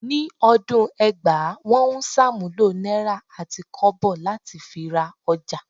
Ni ọdún ẹgbàá, wọ́n ń ṣàmúlò náírà àti kọ́bọ̀ láti fi ra ọjà